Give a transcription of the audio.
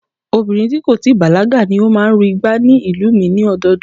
Obìnrin tí kò tí ì bàlágà ni ó máa ń ru igbá ní ìlú mi ni ọdọọdún